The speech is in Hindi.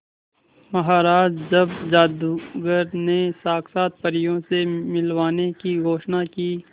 महाराज जब जादूगर ने साक्षात परियों से मिलवाने की घोषणा की